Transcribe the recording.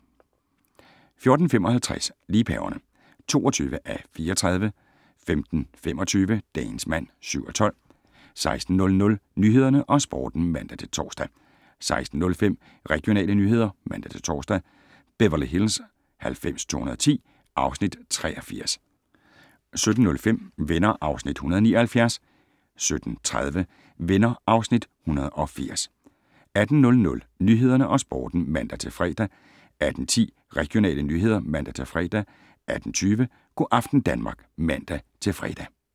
14:55: Liebhaverne (22:34) 15:25: Dagens mand (7:12) 16:00: Nyhederne og Sporten (man-tor) 16:05: Regionale nyheder (man-tor) 16:15: Beverly Hills 90210 (Afs. 83) 17:05: Venner (Afs. 179) 17:30: Venner (Afs. 180) 18:00: Nyhederne og Sporten (man-fre) 18:10: Regionale nyheder (man-fre) 18:20: Go aften Danmark (man-fre)